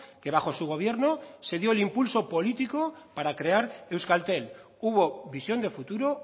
que bajo su gobierno se dio el impulso político para crear euskaltel hubo visión de futuro